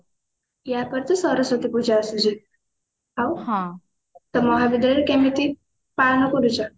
ଆ ପରେ ତ ସରସ୍ଵତୀ ପୂଜା ଆସୁଛି ଆଉ ହଁ ତ ମହାବିଦ୍ୟାଳୟରେ କେମିତି ପାଳନ କରୁଛ?